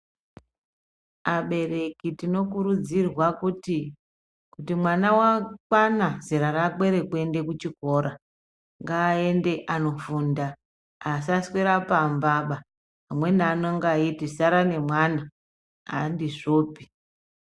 Abereki tinokurudzirwa kuti, kuti mwana wakwana zera rakwe rekuende kuchikora, ngaaende anofunda. Asaswera pambaba. Amweni anenga eiti sara nemwana. Handizvopi.